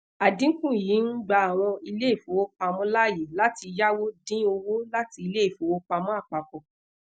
adinku yii n gba awọn ile ìfowòpamo laaye lati yawo din owo lati ile ìfowòpamọ́ apapọ̀